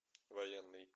военный